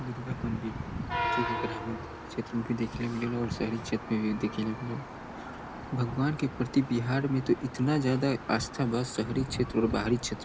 दुर्गा मंदिर जे ग्रामीण क्षेत्र में भी देखे ले मिलेला और शहरी क्षेत्र में भी मिलेला भगवान के प्रति बिहार में तो इतना ज्यादा आस्था बस शहरी क्षेत्र और बाहरी क्षेत्र --